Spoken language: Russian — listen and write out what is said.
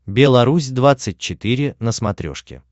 белорусь двадцать четыре на смотрешке